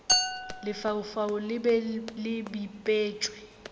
lefaufau le be le bipetšwe